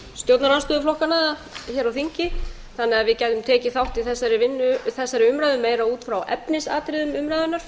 stjórnarandstöðuflokkanna á þingi þannig að við gætum tekið þátt í þessari umræðu meira út frá efnisatriðum skýrslunnar fremur